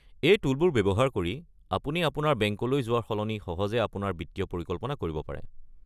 এই টুলবোৰ ব্যৱহাৰ কৰি আপুনি আপোনাৰ বেংকলৈ যোৱাৰ সলনি সহজে আপোনাৰ বিত্তীয় পৰিকল্পনা কৰিব পাৰে।